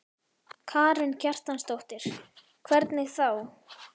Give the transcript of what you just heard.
Karen Kjartansdóttir: Hvernig þá?